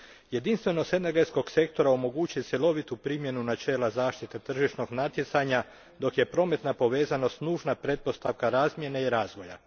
Jedinstvenost energetskog sektora omogućuje cjelovitu primjenu načela zaštite tržišnog natjecanja, dok je prometna povezanost nužna pretpostavka razmjene i razvoja.